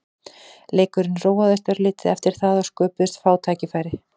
Leikurinn róaðist örlítið eftir það og sköpuðust fá færi.